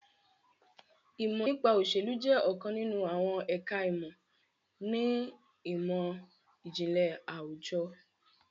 Ìmọ̀ nípa òsèlú jẹ́ ọ̀kan nínú àwọn ẹ̀ka ìmọ̀ ni ìmọ̀-ìjìnlẹ̀ àwùjọ